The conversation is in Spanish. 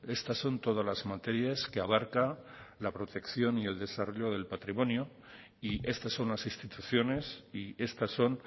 estas son todas las materias que abarca la protección y el desarrollo del patrimonio y estas son las instituciones y estas son